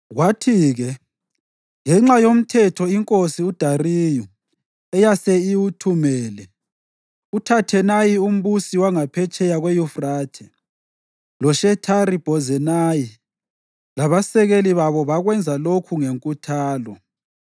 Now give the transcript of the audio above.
Kwathi-ke, ngenxa yomthetho iNkosi uDariyu eyase iwuthumele, uThathenayi umbusi wangaphetsheya kweYufrathe, loShethari-Bhozenayi labasekeli babo bakwenza lokho ngenkuthalo.